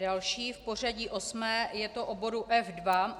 Další v pořadí osmý je o bodu F2.